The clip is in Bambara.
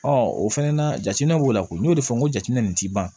o fɛnɛ na jateminɛw la ko n y'o de fɔ n ko jateminɛ nin ti ban